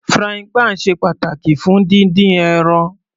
Frying pan ṣe pàtàkì fún dídín ẹran.